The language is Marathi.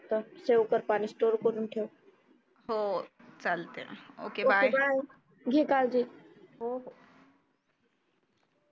save कर पानी store करून ठेव हो घे काळजी